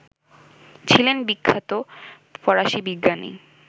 ছিলেন বিখ্যাত ফরাসী বিজ্ঞানী